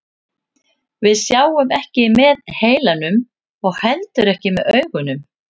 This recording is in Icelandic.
Við sjáum ekki með heilanum og heldur ekki með augunum.